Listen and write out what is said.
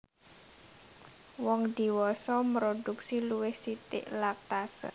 Wong dhiwasa mrodhuksi luwih sithik lactase